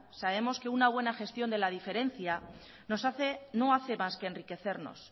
sabemos que una buena gestión de la diferencia no hace más que enriquecernos